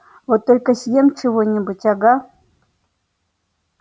вот только съем чего-нибудь ага